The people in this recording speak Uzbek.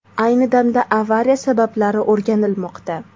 Ayni damda avariya sabablari o‘rganilmoqda.